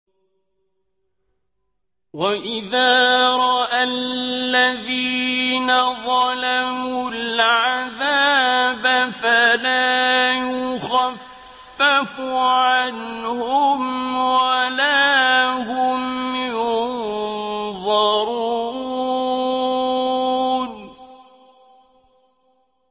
وَإِذَا رَأَى الَّذِينَ ظَلَمُوا الْعَذَابَ فَلَا يُخَفَّفُ عَنْهُمْ وَلَا هُمْ يُنظَرُونَ